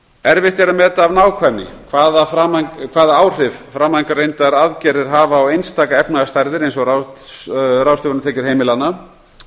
er að meta af nákvæmni hvaða áhrif framangreindar aðgerðir hafa á einstakar efnahagsstærðir eins og ráðstöfunartekjur heimilanna